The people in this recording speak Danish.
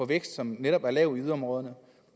vækst som netop er lav i yderområderne